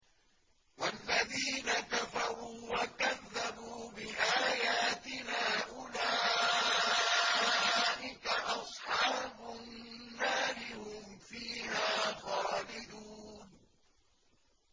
وَالَّذِينَ كَفَرُوا وَكَذَّبُوا بِآيَاتِنَا أُولَٰئِكَ أَصْحَابُ النَّارِ ۖ هُمْ فِيهَا خَالِدُونَ